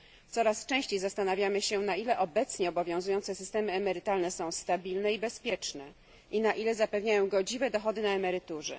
Coraz częściej zastanawiamy się, na ile obecnie obowiązujące systemy emerytalne są stabilne i bezpieczne i na ile zapewniają godziwe dochody na emeryturze.